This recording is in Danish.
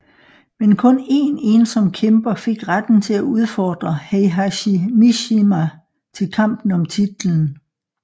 Men kun én ensom kæmper fik retten til at udfordre Heihachi Mishima til kampen om titlen